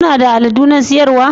Kuna da aladu na siyarwa?